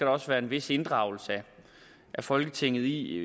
også være en vis inddragelse af folketinget i